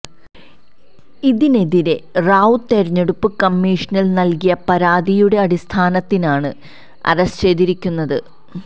ഇതിനെതിരെ റാവു തെരഞ്ഞെടുപ്പ് കമ്മീഷനില് നല്കിയ പരാതിയുടെ അടിസ്ഥാനത്തിനാണ് അറസ്റ്റ് ചെയ്തിരിക്കുന്നത്